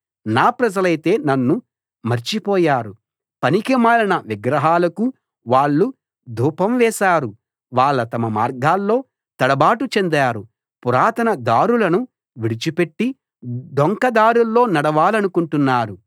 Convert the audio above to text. నా ప్రజలైతే నన్ను మర్చిపోయారు పనికిమాలిన విగ్రహాలకు వాళ్ళు ధూపం వేశారు వాళ్ళ తమ మార్గాల్లో తడబాటు చెందారు పురాతన దారులను విడిచిపెట్టి డొంక దారుల్లో నడవాలనుకుంటున్నారు